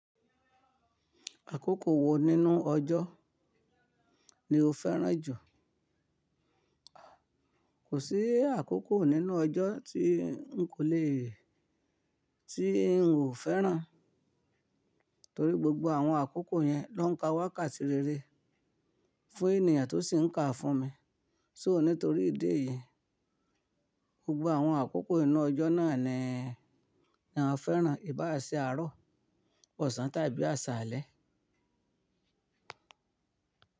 Àkókò wo nínú ọjọ́ ni o fẹ́ràn jù? Kò sí àkókò nínú ọjọ́ tín kò le, tín ò fẹ́ràn, torí gbogbo àwọn àkókò yẹn lóń ka wákàtí rere fún ènìyàn tó sì ń kàá fún mi. So nítorí ìdí èyí, gbogbo àwọn àkókò inú ọjọ́ náà ni, ni a fẹ́ràn, ìbá àṣẹ, àárọ̀, ọ̀sán tàbí àsálẹ́.